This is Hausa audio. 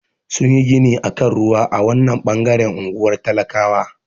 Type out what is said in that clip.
Sun yi gini a kan ruwa a wanan bangaren ungwar talakawa.